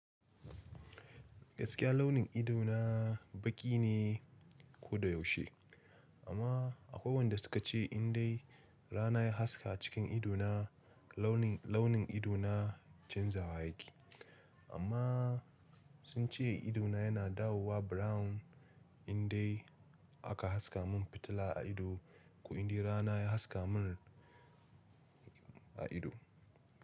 Gaskiya launin ido na, baƙi ne ko da yaushe. Amma, akwai wayanda suka ce in dai rana ya haska a cikin ido na launin, launin ido na chanja wa yake. Amma sun ce ido na yana dawowa brown in dai aka haska mun fitila a ido. Ko in de rana ya haska mun, a ido.